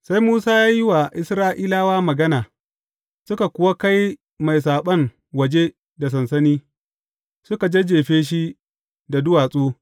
Sai Musa ya yi wa Isra’ilawa magana, suka kuwa kai mai saɓon waje da sansani, suka jajjefi shi da duwatsu.